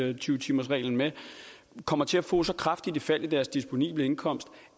og tyve timersreglen med kommer til at få så kraftigt et fald i deres disponible indkomst